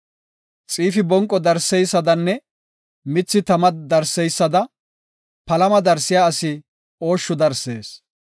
Xiifi bonqo darseysadanne mithi tama darseysada palama darsiya asi ooshshu darsees.